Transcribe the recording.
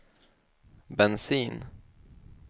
bensin